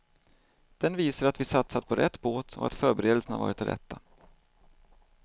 Den visar att vi satsat på rätt båt och att förberedelserna varit de rätta.